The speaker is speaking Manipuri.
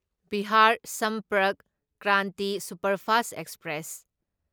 Bihar Sampark Kranti superfast express